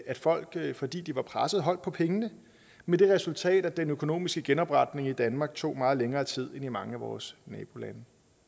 at folk fordi de var pressede holdt på pengene med det resultat at den økonomiske genopretning i danmark tog meget længere tid end i mange af vores nabolande